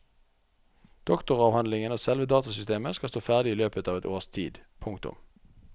Doktoravhandlingen og selve datasystemet skal stå ferdig i løpet av et års tid. punktum